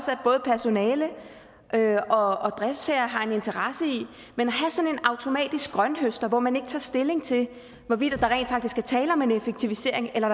at både personale og driftsherre har en interesse i men at have sådan en automatisk grønthøster hvor man ikke tager stilling til hvorvidt der rent faktisk er tale om en effektivisering eller